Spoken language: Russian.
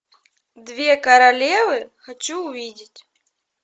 две королевы хочу увидеть